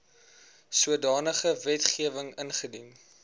sodanige wetgewing ingedien